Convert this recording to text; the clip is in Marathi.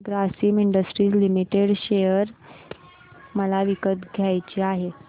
ग्रासिम इंडस्ट्रीज लिमिटेड शेअर मला विकत घ्यायचे आहेत